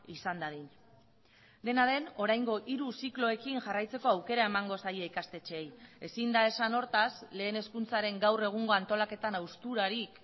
izan dadin dena den oraingo hiru zikloekin jarraitzeko aukera emango zaie ikastetxeei ezin da esan hortaz lehen hezkuntzaren gaur egungo antolaketan hausturarik